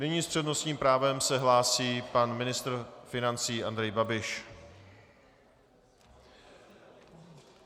Nyní s přednostním právem se hlásí pan ministr financí Andrej Babiš.